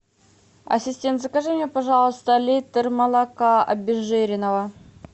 ассистент закажи мне пожалуйста литр молока обезжиренного